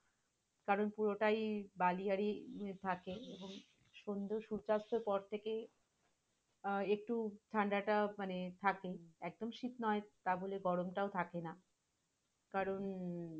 কারণ পুরোটাই বালি আরই থাকে এবং সন্ধ্যায় সূর্যাস্তের পর থেকে আহ একটু ঠান্ডাটা মনে থাকে, এত শীতনা তা বলে গরমটা থাকে না কারণ,